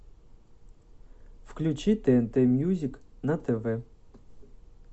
включи тнт мьюзик на тв